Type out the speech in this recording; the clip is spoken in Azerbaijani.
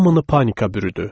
Hamını panika bürüdü.